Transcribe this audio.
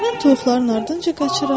Mən toyuqların ardınca qaçıram.